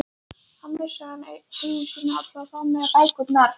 Þá missti hann eigur sínar allar, þar á meðal bækurnar.